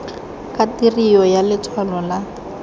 ka tirio ya letshwalo la